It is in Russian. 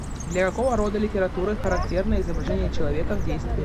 для какого рода литературы характерно изображение человека в действии